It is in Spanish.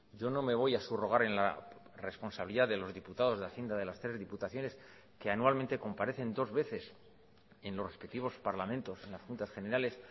yo no me voy a subrogar en la responsabilidad de los diputados de hacienda de las tres diputaciones que anualmente comparecen dos veces en los respectivos parlamentos en las juntas generales